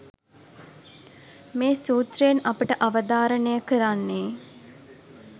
මේ සූත්‍රයෙන් අපට අවධාරණය කරන්නේ